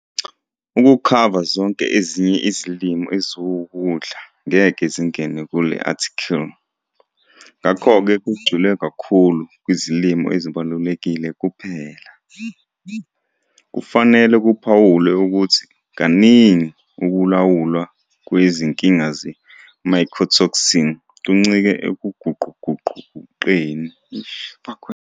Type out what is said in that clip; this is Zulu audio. Ukukhava zonke ezinye izilimo eziwukudla ngeke zingene kule-athikhili, ngakho ke kugxilwe kakhulu kuzilimo ezibalulekile kuphela. Kufanele kuphawulwe ukuthi kaningi ukulawulwa kwezinkinga ze-mycotoxin kuncike ekuguquguqukeni kwesimo sezulu nezimo zendawo, kodwa akufanele singabunaki ubungozi be-mycotoxin.